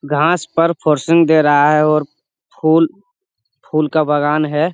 घास पर फर्शुन दे रहा है और फूल फूल का बगान है।